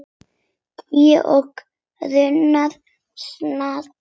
Tré og runnar standa nakin.